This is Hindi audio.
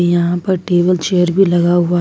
यहां पर टेबल चेयर भी लगा हुआ--